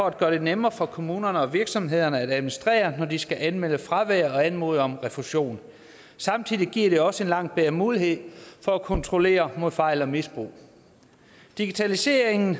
at gøre det nemmere for kommunerne og virksomhederne at administrere når de skal anmelde fravær og anmode om refusion samtidig giver det også en langt bedre mulighed for at kontrollere mod fejl og misbrug digitaliseringen